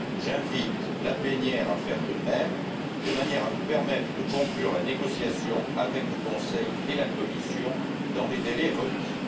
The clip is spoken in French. J'invite la plénière à faire de même, de manière à nous permettre de conclure la négociation avec le Conseil et la Commission dans les délais requis.